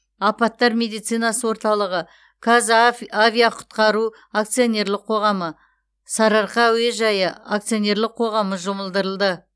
апаттар медицинасы орталығы қазав авиақұтқару акционерлік қоғамы сары арқа әуежайы акционерлік қоғамы жұмылдырылды